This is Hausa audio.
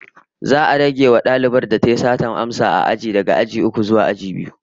Za'a rage wa dalibar da tayi satar amsa aji daga aji uku zuwa biyu